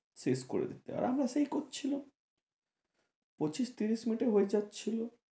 শেষ করে দিতে আর আমরা সেই করছিলাম পঁচিশ তিরিশ মিনিটে হয়ে যাচ্ছিলো